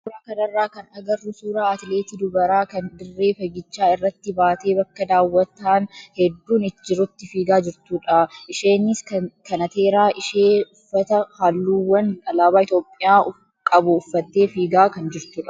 Suuraa kanarraa kan agarru suuraa atileetii dubaraa kan dirree fiigichaa irratti baatee bakka daawwataan hedduun jirutti fiigaa jirtudha. Isheenis kanateeraa ishee uffata halluuwwan alaabaa Itoophiyaa qabu uffattee fiigaa kan jirtudha.